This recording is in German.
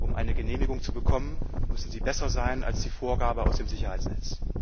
Um eine Genehmigung zu bekommen, müssen sie besser sein als die Vorgabe aus dem Sicherheitsnetz.